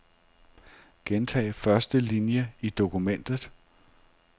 Gentag første linie i dokumentet.